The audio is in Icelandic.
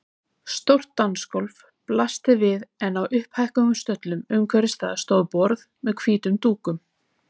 Stórt dansgólf blasti við en á upphækkuðum stöllum umhverfis það stóðu borð með hvítum dúkum.